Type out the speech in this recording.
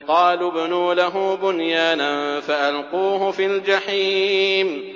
قَالُوا ابْنُوا لَهُ بُنْيَانًا فَأَلْقُوهُ فِي الْجَحِيمِ